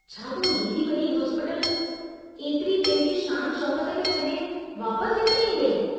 छा तूं हेडी वडी हॉस्पीटल, एतिरी पंहिंजी शान शौकत खे छड़े वापस हिते ईंदे?